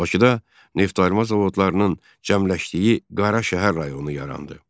Bakıda neftayırma zavodlarının cəmləşdiyi Qara şəhər rayonu yarandı.